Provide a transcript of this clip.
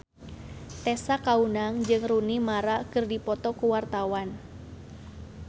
Tessa Kaunang jeung Rooney Mara keur dipoto ku wartawan